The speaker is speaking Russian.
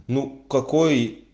ну какой